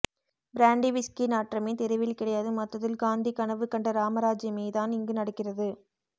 brandy whisky நாற்றமே தெருவில் கிடையாது மொத்தத்தில ் காந்தி கனவு கண்ட ராமராஜ்யம் தான் இங்கு நடக்கிறது